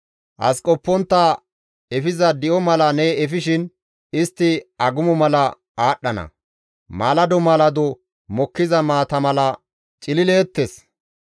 As qoppontta efiza di7o mala ne efishin, istti agumo mala aadhdhana; maalado maalado mokkiza maata mala cilileettes.